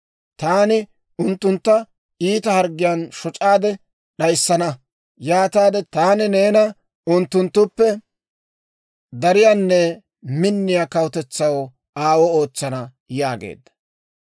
Taani unttuntta iita harggiyaan shoc'aade d'ayissana; yaataade taani neena unttunttuppe dariyaanne minniyaa kawutetsaw aawuwaa ootsana» yaageedda.